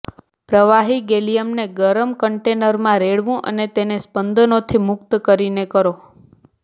પ્રવાહી ગેલિયમને ગરમ કન્ટેનરમાં રેડવું અને તેને સ્પંદનોથી મુક્ત કરીને કરો